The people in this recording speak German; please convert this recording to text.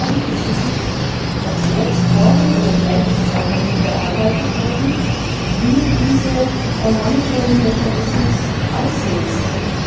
Auf Nachfragen ist uns nicht erklärt worden, oder vielleicht ist auch noch nicht erarbeitet worden, wie dieser Monitoring Mechanismus aussehen soll.